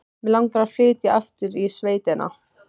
Mig langar að flytja aftur í sveitina.